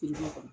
kɔnɔ